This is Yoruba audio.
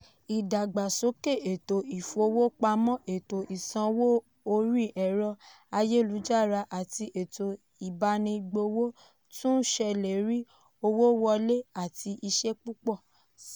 ìdàgbàsókè ètò ìfowópamọ́ ètò ìsanwó orí ẹ̀rọ-ayélujára àti ètò ìbánigbófò tún ń ṣèlérí owó wọlé àti iṣẹ́ púpọ̀ sí i.